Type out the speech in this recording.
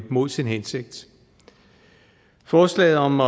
imod sin hensigt forslaget om